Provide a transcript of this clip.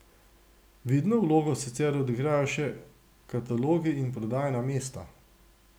Vidno vlogo sicer odigrajo še katalogi in prodajna mesta.